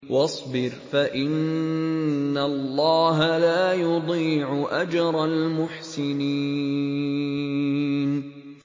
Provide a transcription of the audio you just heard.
وَاصْبِرْ فَإِنَّ اللَّهَ لَا يُضِيعُ أَجْرَ الْمُحْسِنِينَ